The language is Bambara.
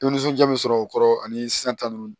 Dumunija min sɔrɔ o kɔrɔ ani sisan ta ninnu